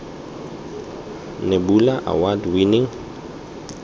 nebula award winning